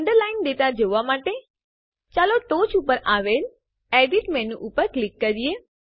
underlying data જોવાં માટે ચાલો ટોંચ ઉપર આવેલ એડિટ મેનુ ઉપર ક્લિક કરીએ